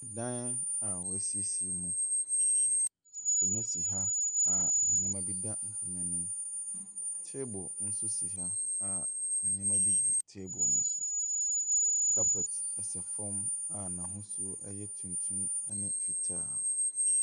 Dan a wɔasiesie mu. Akonnwa bi si ha a nneɛma bi da nkonnwa no mu. Table bi nso si ha a nneɛma bi si table no so. Carpet sɛ fam a n'ahosuo no yɛ tuntum ne fitaa.